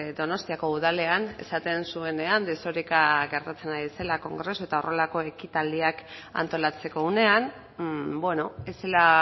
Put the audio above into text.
donostiako udalean esaten zuenean desoreka gertatzen ari zela kongresu eta horrelako ekitaldiak antolatzeko unean ez zela